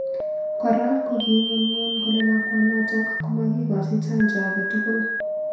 Kora koking'unyng'uny kole lakwanotok komakikochi chanjo ake tugul